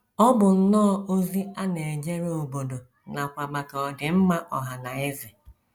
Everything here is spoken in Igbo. Ọ bụ nnọọ ozi a na - ejere obodo nakwa maka ọdịmma ọha na eze.